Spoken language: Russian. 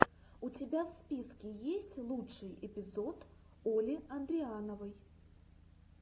у тебя в списке есть лучший эпизод оли андриановой